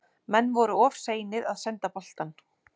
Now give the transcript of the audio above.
Menn voru of seinir að senda boltann.